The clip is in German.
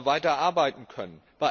wir weiter arbeiten können.